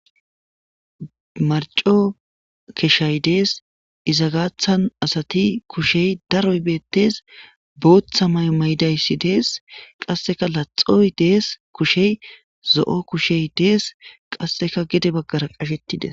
Marco keshshay dees. Ezagaadan asati kushey daroy beettes. Booththa mayo mayida issi dees. Qassika laxoy dees. Kushay zo'o kushay dees. Qasseka gede baggara qashetti dees.